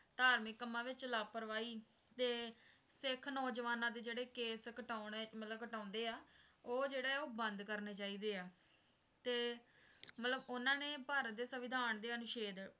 ਧਾਰਮਿਕ ਕੰਮਾਂ ਵਿੱਚ ਲਾਪਰਵਾਹੀ ਤੇ ਸਿੱਖ ਨੌਜੁਆਨਾਂ ਦੇ ਜਿਹੜੇ ਕੇਸ ਕਟਾਉਣੇ ਮਤਲਬ ਕਟਾਉਂਦੇ ਆ ਉਹ ਜਿਹੜੇ ਆ ਉਹ ਬੰਦ ਕਰਨੇ ਚਾਹੀਦੇ ਆ ਤੇ ਮਤਲਬ ਉਨ੍ਹਾਂ ਨੇ ਭਾਰਤ ਦੇ ਸਵਿਧਾਨ ਦੇ ਅਨੁਸ਼ੇਦ